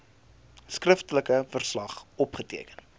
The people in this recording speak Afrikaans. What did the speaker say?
skriftelike verslag opgeteken